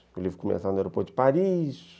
O livro começava no aeroporto de Paris.